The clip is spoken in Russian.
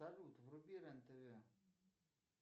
салют вруби рен тв